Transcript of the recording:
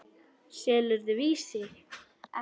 Selurðu Vísi?